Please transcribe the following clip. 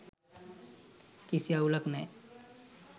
කිසි අවුලක් නෑ.